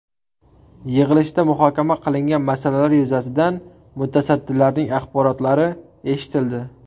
Yig‘ilishda muhokama qilingan masalalar yuzasidan mutasaddilarning axborotlari eshitildi.